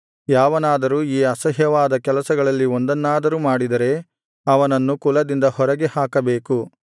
ಯಾವನಾದರೂ ಈ ಅಸಹ್ಯವಾದ ಕೆಲಸಗಳಲ್ಲಿ ಒಂದನ್ನಾದರೂ ಮಾಡಿದರೆ ಅವನನ್ನು ಕುಲದಿಂದ ಹೊರಗೆ ಹಾಕಬೇಕು